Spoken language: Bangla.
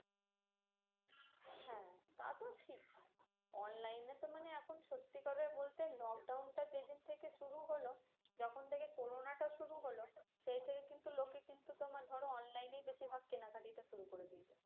হ্যাঁ তা তো ঠিকই। online এ তো মানে এখন সত্যি কথা বলতে lockdown টা যেদিন থেকে শুরু হলো, যখন থেকে corona টা শুরু হলো, সেই থেকে কিন্তু লোকে কিন্তু তোমার ধরো online এই ধরো বেশিরভাগ কেনাকাটি টা শুরু করে দিয়েছে।